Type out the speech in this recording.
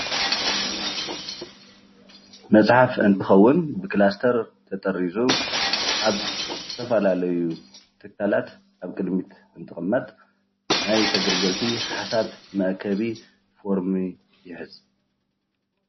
መፅሓፍ እንትከውን ብክላስተር ተጠሪዙ ኣብ ዝተፈላለዩ ትካላት ኣብ ቅድሚት እንትቅመጥ ናይ ተገልገልቲ ሓሳብ መአከቢ ፎርሚ ይሕዝ፡፡